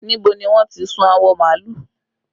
Níbo ni wọ́n ti sun awọ màálù?